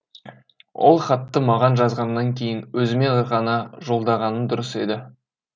ол хатты маған жазғаннан кейін өзіме ғана жолдағаның дұрыс еді